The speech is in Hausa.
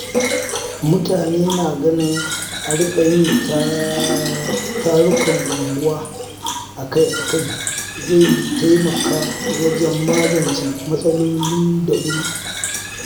Mutane na ganin a riƙa yin tarukan unguwa akai-akai zai taimaka wajen magance matsaloli da wuri.